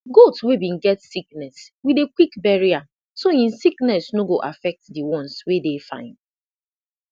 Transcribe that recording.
goat wey been get sickness we dey quick bury am so im sickness no go affect the ones wey dey fine